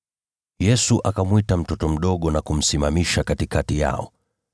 Yesu akamwita mtoto mdogo na kumsimamisha katikati yao.